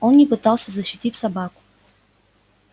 он не пытался защитить собаку